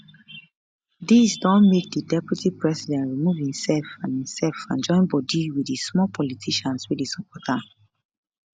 dis don make di deputy president remove imsef and imsef and join bodi wit di small politicians wey dey support am